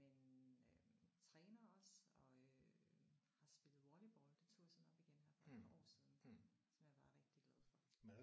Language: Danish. Øh men træner også og øh har spillet volleyball. Det tog jeg sådan op igen her for et par år siden som jeg bare er rigtig glad for